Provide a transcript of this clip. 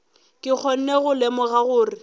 ke kgone go lemoga gore